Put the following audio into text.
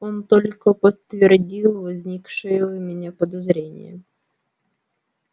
он только подтвердил возникшее у меня подозрение